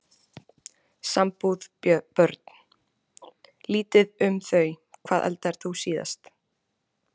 Sambúð Börn: Lítið um þau Hvað eldaðir þú síðast?